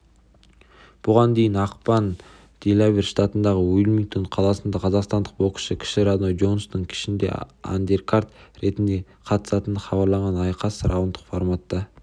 бұған дейін ақпан күні делавэр штатындағы уилмингтон қаласында қазақстандық боксшы кіші рой джонстың кешінде андеркарт ретінде қатысатыны хабарланған айқас раундтық форматта